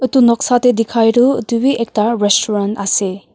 itu noksa teh dikhai tu itu wii ekta restaurant ase.